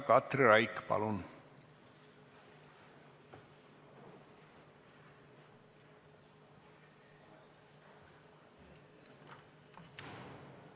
Katri Raik, palun!